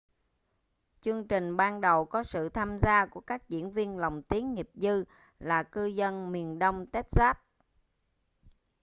chương trình ban đầu có sự tham gia của các diễn viên lồng tiếng nghiệp dư là cư dân miền đông texas